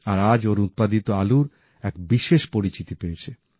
আর আজ ওঁর উৎপাদিত আলুর এক বিশেষ পরিচিতি পেয়েছে